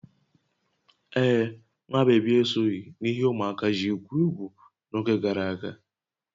Ee, nwa bébí esoghị n'ihe ụmụaka ji egwu egwu n'oge gara aga